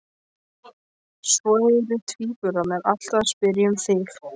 Svo eru tvíburarnir alltaf að spyrja um þig